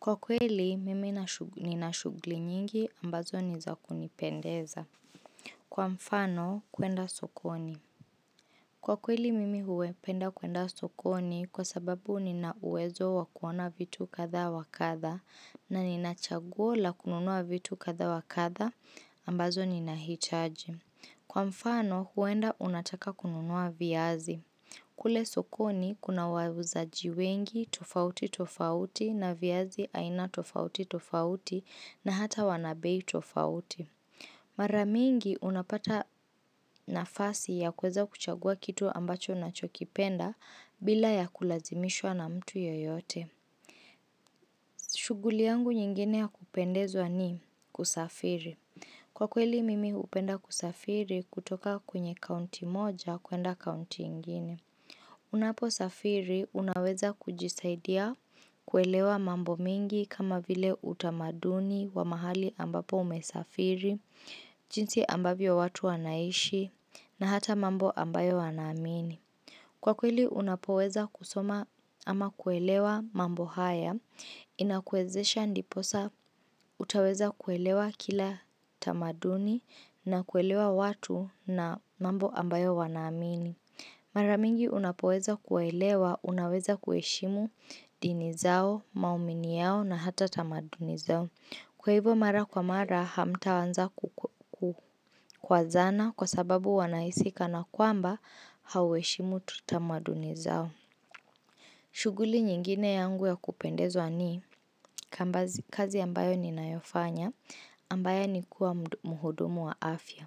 Kwa kweli, mimi nina shughli nyingi ambazo niza kunipendeza. Kwa mfano, kuenda sokoni. Kwa kweli, mimi hupenda kuenda sokoni kwa sababu nina uwezo wakuona vitu kadha wakadha na nina chaguo la kununua vitu kadha wakatha ambazo nina hitaji. Kwa mfano, huwenda unataka kununua viazi. Kule sokoni kuna wauzajiwengi tofauti tofauti na viazi aina tofauti tofauti na hata wanabei tofauti. Maramingi unapata nafasi ya kuweza kuchagua kitu ambacho unachokipenda bila ya kulazimishwa na mtu yeyote. Shughuli yangu nyingine ya kupendeza ni kusafiri. Kwa kweli mimi hupenda kusafiri kutoka kwenye kaunti moja kuenda kaunti ingine. Unapo safiri unaweza kujisaidia kuelewa mambo mengi kama vile utamaduni wa mahali ambapo umesafiri, jinsi ambavyo watu wanaishi na hata mambo ambayo wanaamini. Kwa kweli unapoweza kusoma ama kuelewa mambo haya, inakuwezesha ndiposa utaweza kuelewa kila tamaduni na kuelewa watu na mambo ambayo wanaamini. Maramingi unapoweza kuwaelewa, unaweza kuheshimu dini zao, maumini yao na hata tamaduni zao. Kwa hivyo mara kwa mara hamta anza kukwazana kwa sababu wanahisikana kwamba hauheshimu tamaduni zao. Shughuli nyingine yangu ya kupendezwa ni kazi ambayo ninayofanya ambaya ni kuwa muhudumu wa afya.